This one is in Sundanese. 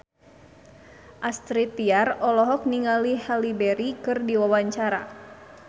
Astrid Tiar olohok ningali Halle Berry keur diwawancara